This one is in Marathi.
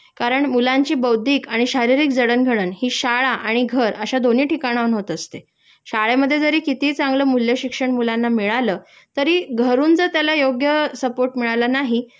कारण मुलांची बौद्धिक आणि शारीरिक जडघडण हि शाळा आणि घर अश्या दोन्ही ठिकाणाहून होत असते.शाळेमध्ये जरी कितीही चांगलं मूल्यशिक्षण मुलांना मिळालं तरी घरून जर त्याला योग्य सपोर्ट मिळाला नाही